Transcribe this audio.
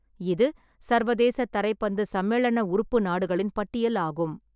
இது சர்வதேச தரைப்பந்து சம்மேளன உறுப்பு நாடுகளின் பட்டியல் ஆகும்.